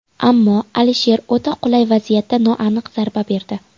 Ammo Alisher o‘ta qulay vaziyatda noaniq zarba berdi.